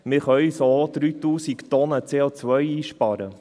Damit können wir 3000 Tonnen CO einsparen.